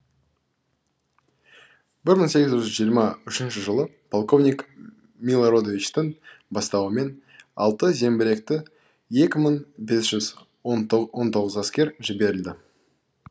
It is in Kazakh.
бір мың сегіз жүз жиырма үшінші жылы полковник милородовичтің бастауымен алты зеңбіректі екі мың бес жүз он тоғызыншы әскер жіберілді